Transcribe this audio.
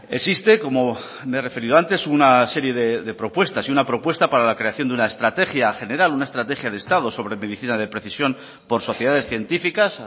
existe como me he referido antes una serie de propuestas y una propuesta para la creación de una estrategia general una estrategia de estado sobre medicina de precisión por sociedades científicas